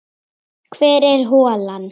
Hvar er holan?